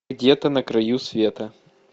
где то на краю света